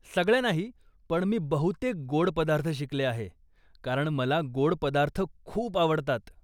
सगळ्या नाही, पण मी बहुतेक गोड पदार्थ शिकले आहे कारण मला गोड पदार्थ खूप आवडतात.